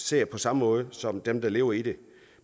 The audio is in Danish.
ser på samme måde som dem der lever i det